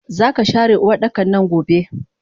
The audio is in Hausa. Zaka share Uwardakannan gobe!